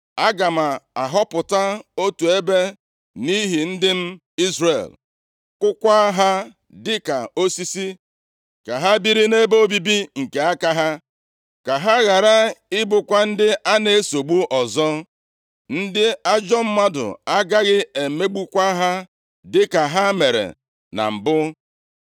Aga m ahọpụta otu ebe nʼihi ndị m Izrel, kụkwa ha dịka osisi ka ha biri nʼebe obibi nke aka ha; ka ha ghara ị bụkwa ndị a na-esogbu ọzọ. Ndị ajọ mmadụ agaghị emegbukwa ha dịka ha mere na mbụ,